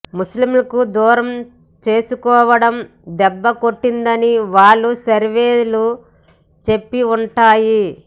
ముస్లిములను దూరం చేసుకోవడం దెబ్బ కొట్టిందని వాళ్ల సర్వేలు చెప్పి వుంటాయి